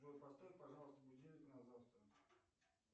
джой поставь пожалуйста будильник на завтра